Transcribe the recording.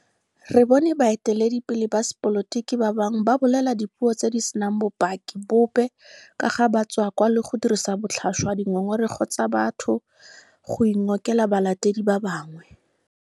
Re bone baeteledipele ba sepolotiki ba bangwe ba bolela dipuo tse di senang bopaki bope ka ga batswakwa le go dirisa botlhaswa dingongorego tsa batho go ingokela balatedi ba bangwe.